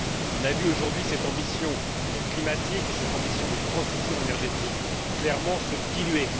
On a vu aujourd'hui cette ambition climatique et cette ambition pour la transition énergétique clairement se diluer.